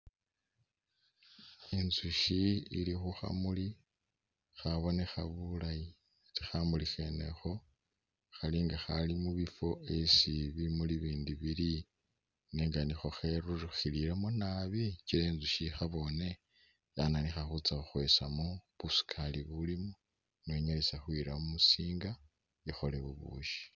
Inzushi ili khu khamuli khabonekha bulayi atee khamuli khene ikho khalinga khali mubifo esi bimuli bindi bili nenga nikho kheburulukhilemo naabi kyila inzushi ikhabone yananikha khutsa khukhwesamo busukali bulimo niwo inyalise khuyila mu musinga ikhole bubushi.